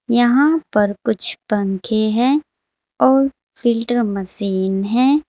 यहां पर कुछ पंखे हैं और फिल्टर मशीन है।